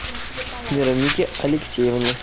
веронике алексеевне